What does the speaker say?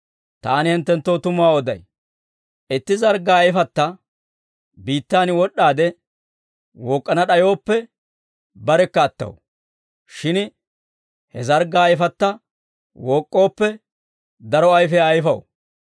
Taani hinttenttoo tumuwaa oday; itti zarggaa ayfatta biittaan wod'd'aade wook'k'ana d'ayooppe, barekka attaw. Shin he zarggaa ayfatta wook'k'ooppe, daro ayfiyaa ayfaw.